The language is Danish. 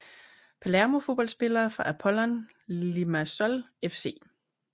Palermo Fodboldspillere fra Apollon Limassol FC